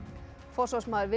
forsvarsmaður